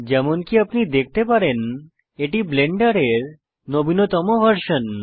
যেমনকি আপনি দেখতে পারেন এটি ব্লেন্ডারের নবীনতম ভার্সন